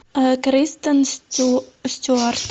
кристен стюарт